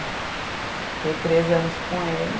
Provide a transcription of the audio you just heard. Fiquei três anos com ele.